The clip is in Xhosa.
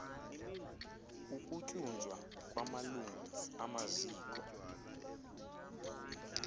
ukutyunjwa kwamalungu amaziko